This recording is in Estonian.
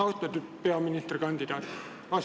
Austatud peaministrikandidaat!